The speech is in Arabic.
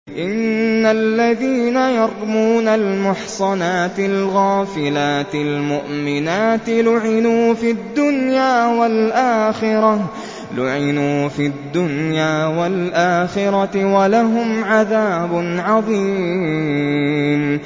إِنَّ الَّذِينَ يَرْمُونَ الْمُحْصَنَاتِ الْغَافِلَاتِ الْمُؤْمِنَاتِ لُعِنُوا فِي الدُّنْيَا وَالْآخِرَةِ وَلَهُمْ عَذَابٌ عَظِيمٌ